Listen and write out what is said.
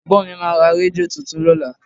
Ẹ̀gbọ́n mi máa ra rédíò tuntun lọ́la